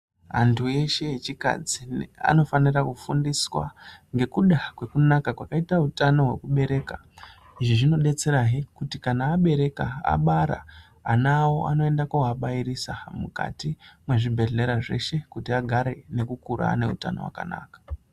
Antu eshe echikadzi anofanira kufundiswa ngekuda kwekunaka kwakaite utano hwekubereka. Izvi zvinodetserahe kuti kana abereka, abara ana awo anoende kooabairisa mukati mwezvibhedhlera zveshe kuti agare nekukura ane utano hwakanaka.